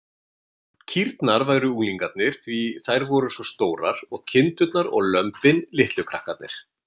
Kýrnar væru unglingarnir, því þær væru svo stórar, og kindurnar og lömbin litlu krakkarnir.